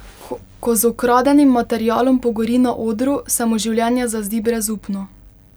Ko z ukradenim materialom pogori na odru, se mu življenje zazdi brezupno.